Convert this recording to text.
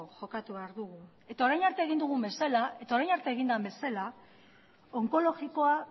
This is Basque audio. jokatu behar dugu eta orain arte egin den bezala onkologikoa